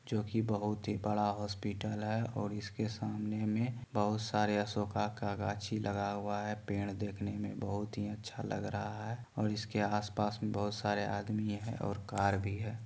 जोकि बहुत ही बड़ा हॉस्पिटल है और इसके सामने में बहुत सारे अशोका का गाझी लगा हुआ है पेड़ देखने में बहुत ही अच्छा लग रहा है और इसके आस पास में बहुत सारे आदमी है और कार भी है।